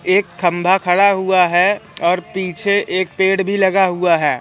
एक खंभा खड़ा हुआ है और पीछे एक पेड़ भी लगा हुआ है।